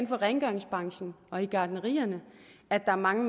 for rengøringsbranchen og gartnerierhvervet at mange